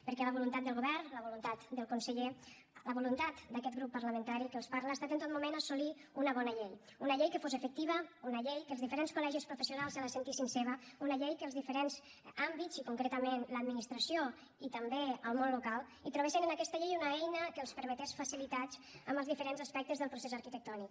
perquè la voluntat del govern la voluntat del conseller la voluntat d’aquest grup parlamentari que els parla ha estat en tot moment assolir una bona llei una llei que fos efectiva una llei que els diferents col·legis professionals se la sentissin seva una llei que els diferents àmbits i concretament l’administració i també el món local trobessin en aquesta llei una eina que els permetés facilitats en els diferents aspectes del procés arquitectònic